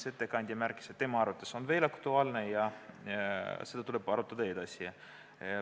Ettekandja märkis, et tema arvates on aktuaalne ja seda tuleb edasi arutada.